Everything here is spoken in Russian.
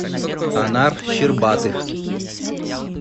анар щербатых